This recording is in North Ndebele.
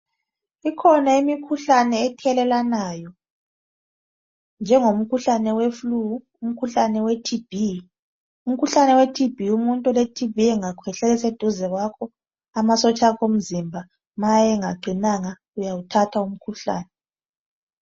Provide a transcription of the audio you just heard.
Ikhona imikhuhlane ethelelwanayo njengomkhuhlane weflu, umkhuhlane weTB. Umkhuhlane weTB umuntu oleTB engakhwehlela eseduze kwakho amasotsha akho omzimba nxa engaqinanga uyawuthatha umkhuhlane